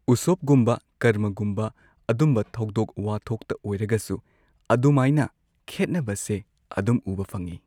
ꯎꯁꯣꯕꯒꯨꯝꯕ ꯀꯔꯃꯒꯨꯝꯕ ꯑꯗꯨꯝꯕ ꯊꯧꯗꯣꯛ ꯋꯥꯊꯣꯛꯇ ꯑꯣꯏꯔꯒꯁꯨ ꯑꯗꯨꯃꯥꯏꯅ ꯈꯦꯠꯅꯕꯁꯦ ꯑꯗꯨꯝ ꯎꯕ ꯐꯪꯉꯦ꯫